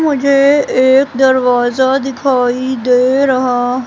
मुझे एक दरवाजा दिखाई दे रहा--